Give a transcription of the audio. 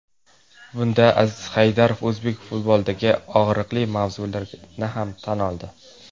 Bunda Aziz Haydarov o‘zbek futbolidagi og‘riqli mavzularga ham to‘xtaldi.